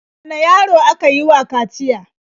Wane yaro aka yi wa kaciya?